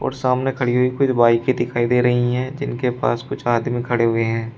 और सामने खड़ी हुई कुछ बाईकें दिखाई दे रही हैं जिनके पास कुछ आदमी खड़े हुए हैं।